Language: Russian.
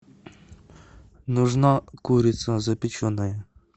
нужна курица запеченная